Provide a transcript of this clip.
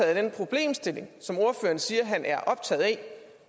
af den problemstilling som ordføreren siger han er